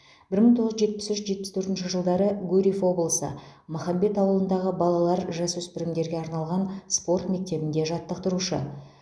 бір мың тоғыз жүз жетпіс үш жетпіс төртінші жылдары гурьев облысы махамбет ауылындағы балалар жасөспірімдерге арналған спорт мектебінде жаттықтырушы